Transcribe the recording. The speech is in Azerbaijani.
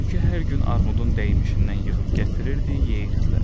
Tülkü hər gün armudun dəymişindən yığıb gətirirdi, yeyirdilər.